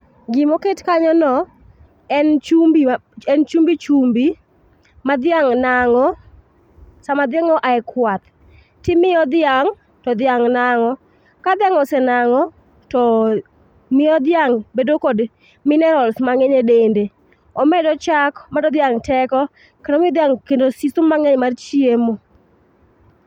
Gima oket kanyono en chumbi, en chumbi chumbi ma dhiang' nang'o sama dhiang' oa e kwath to imiyo dhiang' to dhiang' nang'o. Ka dhiang' ose nang'o to miyo dhiang' bedo kod minerals mang'eny e dende. Omedo chak, omiyo dhiang' teko kendo omiyo dhiang' siso mar chiemo